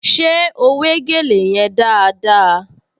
Ṣé ó wé gèlè yẹn dáadáa?